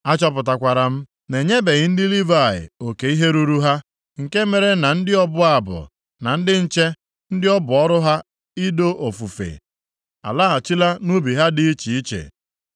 A chọpụtakwara m na-enyebeghị ndị Livayị oke ihe ruru ha, nke mere na ndị ọbụ abụ, na ndị nche ndị ọ bụ ọrụ ha i doo ofufe, alaghachila nʼubi ha dị iche iche.